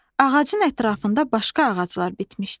Ağacın ətrafında başqa ağaclar bitmişdi.